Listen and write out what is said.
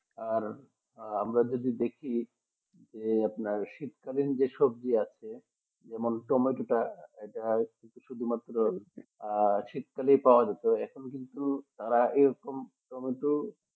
আর আমরা যদি দেখি যে আপনার শীতকালীন যে সবজি আছে যেমন টমেটোটা এটা শুধুমাত্র আহ শীতকালে পাওয়া যেত এখন কিন্তু তারা এরকম টমেটো